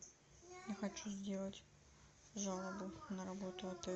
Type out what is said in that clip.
я хочу сделать жалобу на работу отеля